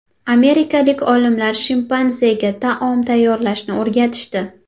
Amerikalik olimlar shimpanzega taom tayyorlashni o‘rgatishdi.